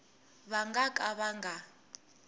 va nga ka va nga